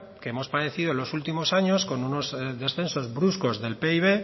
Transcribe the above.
que hemos padecido en los últimos años con unos descensos bruscos del pib